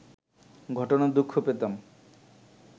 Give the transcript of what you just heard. ঘটনায় দুঃখ পেতাম